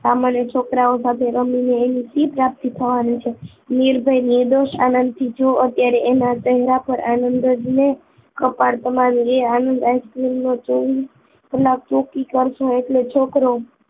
સામાન્ય છોકરાઓ સાથે રમીને એની શી પ્રાપ્તિ થવાની છે નિર્ભય નિર્દોષ આનંદથી જો અત્યારે એના ચહેરા પર આનંદ જ ને કપાળ તમારું એ આનંદ Ice cream ને જોઈ પેલા ચોકી કરશે એટલે છોકરો